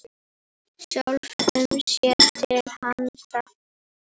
Sjálfum sér til handa.